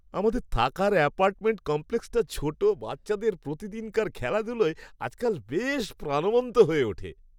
আমাদের থাকার অ্যাপার্টমেন্ট কমপ্লেক্সটা ছোট বাচ্চাদের প্রতিদিনকার খেলাধুলোয় আজকাল বেশ প্রাণবন্ত হয়ে ওঠে।